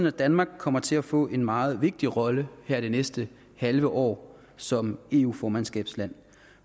at danmark kommer til at få en meget vigtig rolle her det næste halve år som eu formandskabsland